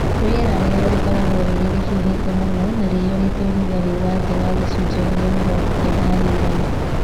Rĩera rĩao rĩkoragwo rĩrĩ rĩhiũhĩte mũno na rĩiyũrĩte ũrugarĩ wa thĩ wa gĩcunjĩ kĩa mĩrongo kenda harĩ igana